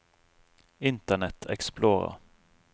internet explorer